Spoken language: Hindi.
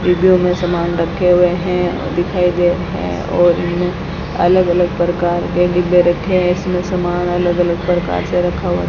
डिब्बियों में सामान रखे हुए है दिखाई दे है और इनमें अलग अलग प्रकार के डिब्बे रखें है इसमें सामान अलग अलग प्रकार से रखा हुआ --